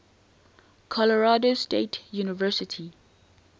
colorado state university